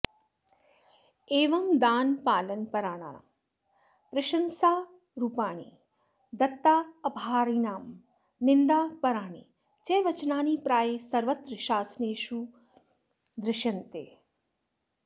एवं दानपालनपराणां प्रशंसारुपाणि दत्तापहारिणां निन्दापराणि च् वचनानि प्रायः सर्वत्र शासनेषु दृश्यन्ते